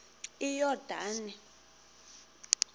iyordane